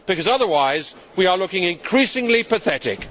Otherwise, we are looking increasingly pathetic.